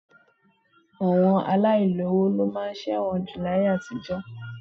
Àwọn aláìlówo ló máa ń ṣẹ̀wọ̀n jù láyé àtijọ́